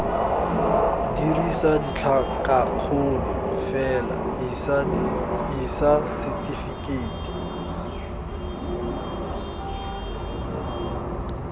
dirisa ditlhakakgolo fela isa setefikeiti